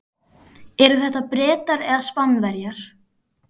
Eru þetta Bretar eða Spánverjar?